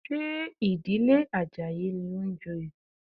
Ṣé ìdílé Àjàyí ní ń joyè?